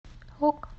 ок